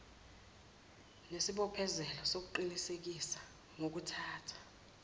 nesibophezelo sokuqinisekisa ngokuthatha